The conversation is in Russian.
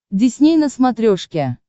дисней на смотрешке